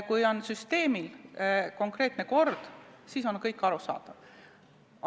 Kui süsteemis on konkreetne kord, siis on kõik arusaadav.